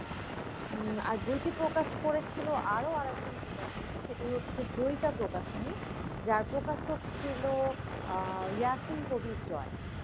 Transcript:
উম আর বইটি প্রকাশ করেছিল আরও আর একজন প্রকাশনী সেটি হচ্ছে জয়িতা প্রকাশনী, যার প্রকাশক ছিল আহ ইয়াসিন কবির জয়।